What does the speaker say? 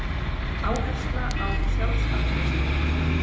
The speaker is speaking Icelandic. Áhersla á sjálfsafgreiðslu